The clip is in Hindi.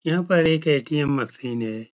यहाँ पर एक ए.टी.एम मशीन है।